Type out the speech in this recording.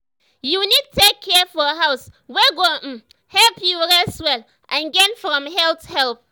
you need take care for house wey go um help you rest well and gain from health help.